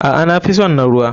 Aa nafison na ruwa.